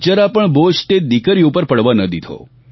જરાપણ બોજ તે દિકરીઓ પર પડવા ન દીધો